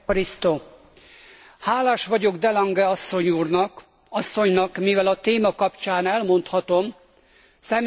Hálás vagyok de Lange asszonynak, mivel a téma kapcsán elmondhatom személyes tapasztalataimat.